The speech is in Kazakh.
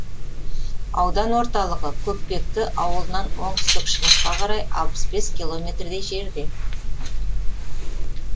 аудан орталығы көкпекті ауылынан оңтүстік шығысқа қарай алпыс бес километрдей жерде